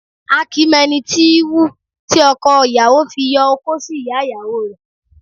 A kì í mo ẹni tí í wù, tí ọko ìyàwó fi yo okó sí ìyá ìyàwó rẹ̀